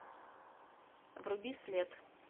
вруби след